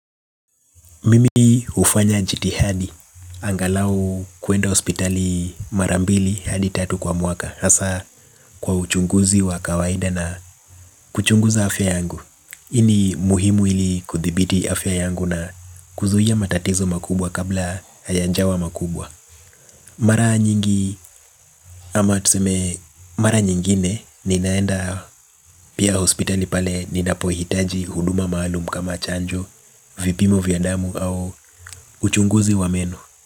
Mimi hufanya jitihadi angalau kuenda hospitali mara mbili hadi tatu kwa mwaka. Hasa kwa uchunguzi wa kawaida na kuchunguza afya yangu. Ii ni muhimu ili kuthibiti afya yangu na kuzuia matatizo makubwa kabla hayajawa makubwa. Mara nyingi ama tuseme mara nyingine ninaenda pia hospitali pale ninapohitaji huduma maalum kama chanjo. Vipimo vya damu au uchunguzi wa meno.